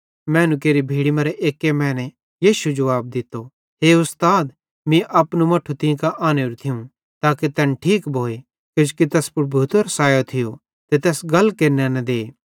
मैनू केरि भीड़ी मरां एक्की मैने यीशु जुवाब दित्तो हे उस्ताद मीं अपनू मट्ठू तीं कां आनेरू थियूं ताके तैन ठीक भोए किजोकि तैस पुड़ भूतेरो सायो आए ते तैस गल केरने न दे